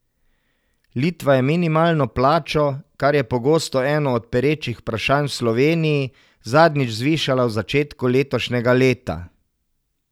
Litva je minimalno plačo, kar je pogosto eno od perečih vprašanj v Sloveniji, zadnjič zvišala v začetku letošnjega leta.